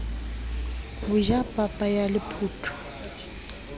ho ja papa ya lephotho